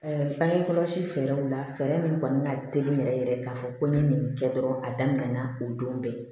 bangekɔlɔsi fɛɛrɛw la fɛɛrɛ min kɔni ka teli yɛrɛ yɛrɛ k'a fɔ ko n ye nin kɛ dɔrɔn a daminɛna o don bɛɛ